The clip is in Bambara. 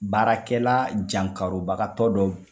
Baarakɛla jankarobagatɔ dɔ